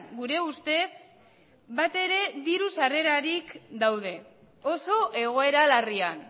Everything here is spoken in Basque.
gure ustez batere diru sarrerarik gabe daude oso egoera larrian